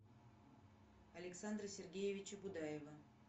александра сергеевича будаева